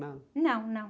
Não?ão, não.